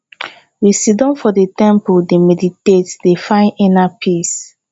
we siddon for di temple dey meditate dey find inner peace